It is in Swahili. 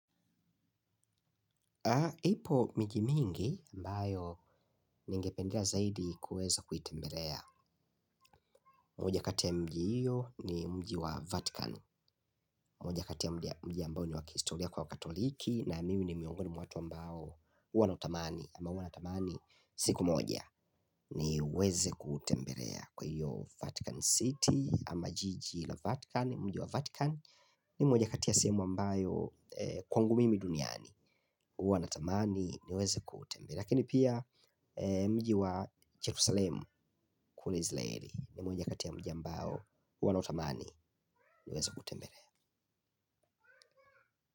Ipo miji mingi ambayo ningependela zaidi kuweza kuitembelea. Moj akati ya mji hiyo ni mji wa Vatican. Moja kati ya mji ambao ni wa kihistoria kwa wakatoliki. Na mimi ni miongoni mwa watu ambao uwa nautamani. Ama uwa natamani siku moja ni weze kutembelea. Kwa hiyo Vatican City ama jiji la Vatican Mji wa Vatican ni moja kati ya semu ambayo kwangu mimi duniani. Uwa natamani niweze kutembelea. Lakini pia mji wa Jerusalem kule izraeli. Ni moja kati ya mji ambao huwa nautamani niwez kuutembelea.